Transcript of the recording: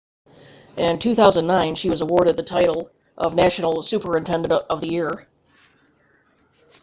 in 2009 she was awarded the title of national superintendent of the year